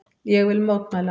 Ég vil mótmæla.